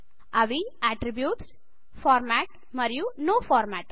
అవిAttributes format మరియు no format